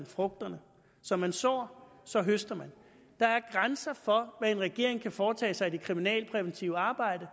frugterne som man sår så høster man der er grænser for hvad en regering kan foretage sig i det kriminalpræventive arbejde